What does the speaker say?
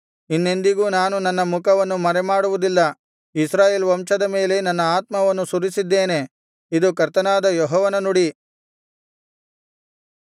ಇನ್ನೆಂದಿಗೂ ನಾನು ನನ್ನ ಮುಖವನ್ನು ಮರೆಮಾಡುವುದಿಲ್ಲ ಇಸ್ರಾಯೇಲ್ ವಂಶದ ಮೇಲೆ ನನ್ನ ಆತ್ಮವನ್ನು ಸುರಿಸಿದ್ದೇನೆ ಇದು ಕರ್ತನಾದ ಯೆಹೋವನ ನುಡಿ